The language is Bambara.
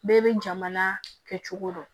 Bɛɛ bɛ jamana kɛ cogo dɔn